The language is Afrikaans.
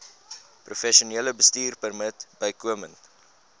professionele bestuurpermit bykomend